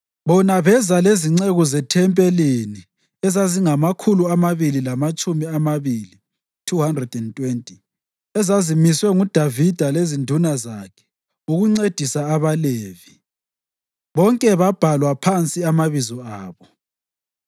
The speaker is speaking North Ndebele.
Bona beza lezinceku zethempelini ezingamakhulu amabili lamatshumi amabili (220) ezazimiswe nguDavida lezinduna zakhe ukuncedisa abaLevi. Bonke babhalwa phansi amabizo abo.